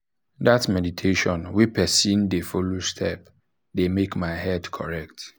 that meditation wey person wey person dey follow step dey make my head correct.